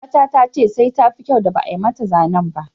Ƴaruwata ta ce da sai tafi kyau da ba'a mata zanen ba.